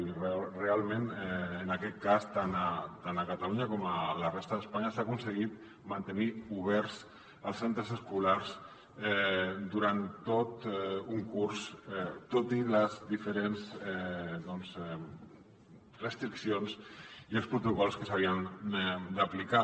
i realment en aquest cas tant a catalunya com a la resta d’espanya s’ha aconseguit mantenir oberts els centres escolars durant tot un curs tot i les diferents restriccions i els protocols que s’havien d’aplicar